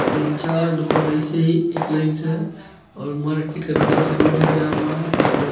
तीन-चार दुकान ऐसे ही एक लाइन से है और मार्केट के बगल से रोड गया हुआ है जिसमें आप --